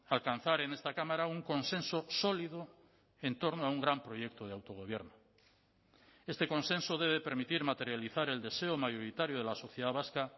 alcanzar en esta cámara un consenso sólido en torno a un gran proyecto de autogobierno este consenso debe permitir materializar el deseo mayoritario de la sociedad vasca